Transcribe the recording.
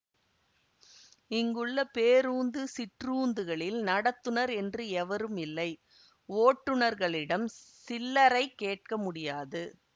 இங்குள்ள பேரூந்து சிற்றூந்துகளில் நடத்துனர் என்று எவரும் இல்லை ஓட்டுனர்களிடம் சில்லைரை கேட்க முடியாது